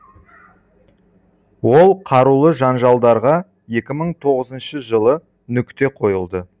ол қарулы жанжалдарға екі мың тоғызыншы жылы нүкте қойылды